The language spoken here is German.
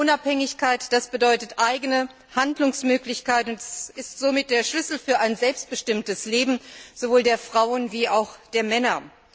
Wirtschaftliche Unabhängigkeit bedeutet eigene Handlungsmöglichkeiten und ist somit der Schlüssel für ein selbstbestimmtes Leben, sowohl der Frauen als auch der Männer.